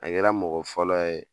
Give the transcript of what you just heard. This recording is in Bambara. A kɛra mɔgɔ fɔlɔ ye